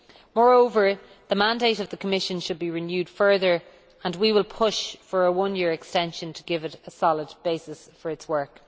Moreover, the mandate of the Commission should be renewed further, and we will push for a one year extension to give it a solid basis for its work.